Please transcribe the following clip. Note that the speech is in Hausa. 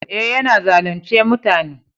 Eh, ya na zalunce mutane.